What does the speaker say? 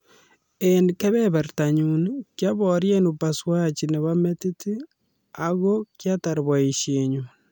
"Eng kebebertanyu kiaborie upasuaji nebo metit ago kiatar boisienyu.